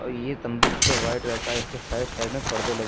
यह तंबू पूरा व्हाइट रंग का है इसके साइड साइड में पर्दे लगे--